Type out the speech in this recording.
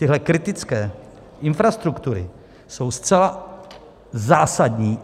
Tyhle kritické infrastruktury jsou zcela zásadní.